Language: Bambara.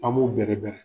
An b'u bɛrɛbɛrɛ